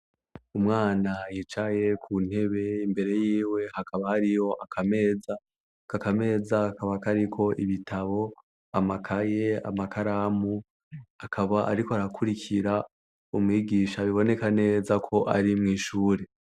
Umwana yicaye ku ntebe imbere yiwe hakaba hariyo akameza. Ako kameza kakaba kariko ibitabo, amakaye, amakaramu. Akaba ariko arakurukira umwigisha biboneka neza ko ari mw'ishure.